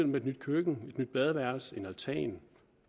med et nyt køkken et nyt badeværelse eller en altan